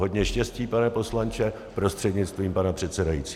Hodně štěstí, pane poslanče prostřednictvím pana předsedajícího.